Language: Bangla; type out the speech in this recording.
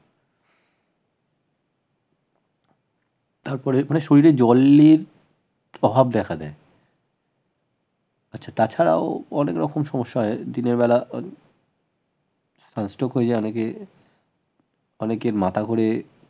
তারপরে শরীরে জলের প্রভাব দেখা দেয় আচ্ছা তাছাড়াও অনেক রকম সমস্যা হয় দিনের বেলা sun strock হয়ে যায় অনেকের অনেকের মাথা ঘোরে